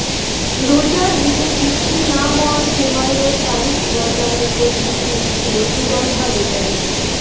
রোজার ঈদে বিক্রি না হওয়া সেমাইয়ের তারিখ বদলানোর প্রস্তুতি নিচ্ছিল সুগন্ধা বেকারি